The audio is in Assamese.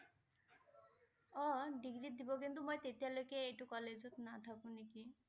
অ' ডিগ্ৰীত দিব কিন্তু মই তেতিয়ালৈকে এইটো কলেজত নেথাকো নেকি।